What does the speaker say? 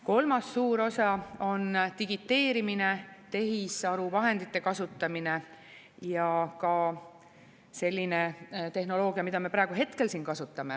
Kolmas suur osa on digiteerimine, tehisaru vahendite kasutamine ja ka selline tehnoloogia, mida me praegu hetkel siin kasutame.